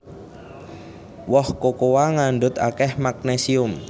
Woh kokoa ngandhut akèh magnésium